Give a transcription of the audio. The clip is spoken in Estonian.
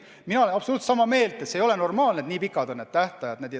Mina olen absoluutselt sama meelt, et see ei ole normaalne, et nii pikad tähtajad on.